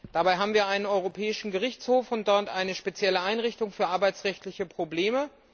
Dabei haben wir einen Europäischen Gerichtshof und dort eine spezielle Einrichtung für arbeitsrechtliche Probleme.